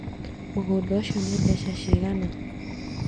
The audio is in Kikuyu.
Mũgũnda ũcio nĩ mbeca cigana